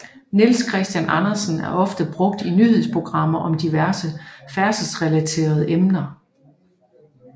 Niels Christian Andersen er ofte brugt i nyhedsprogrammer om diverse færdselsreleterede emner